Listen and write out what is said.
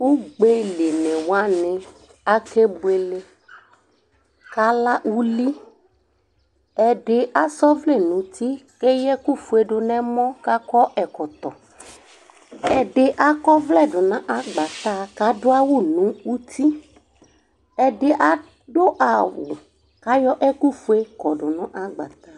Ugbelini wani akebuele, kʋ ala uli, ɛdi asa ɔvlɛ nʋ uti, kʋ eya ɛkʋfue dʋnʋ ɛmɔ Kʋ akɔ ɛkɔtɔ kʋ ɛdi akɔ ɔvlɛ dʋnʋ agbatɛ kʋ adʋ awʋ nʋ uti Ɛdi adʋ awʋ kʋ ayɔ ɛkʋfue kɔdʋnʋ agbata